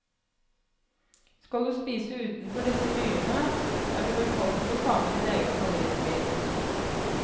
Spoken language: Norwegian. Skal du spise utenfor disse byene, er du velkommen til å ta med din egen favorittvin.